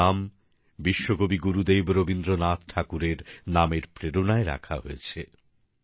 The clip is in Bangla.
ওঁর এই নাম বিশ্বকবি গুরুদেব রবীন্দ্রনাথ ঠাকুরের নামের প্রেরণায় রাখা হয়েছে